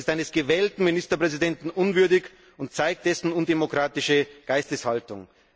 Das ist eines gewählten Ministerpräsidenten unwürdig und zeigt dessen undemokratische Geisteshaltung.